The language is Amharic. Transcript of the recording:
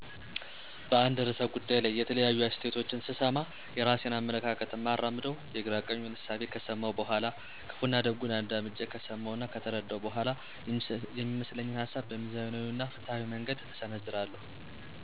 በአንድ ርዕሰ ጉዳይ ላይ የተለያዩ አስተያየቶችን ስሰማ፣ የራሴን አመለካከት እማራምደው የግራ ቀኙን እሳቤ ከሰመው በኋላ፣ ክፋና ደጉን አዳምጨ ከሰመው እና ከተረደው በኋላ፤ የሚመስለኝን ሀሳብ በሚዛናዊ እና በፋትሀዊ መንገድ እሰነዝራለሁ።